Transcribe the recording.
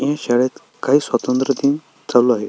हि शाळेत काही स्वातंत्र्य दिन चालू आहे.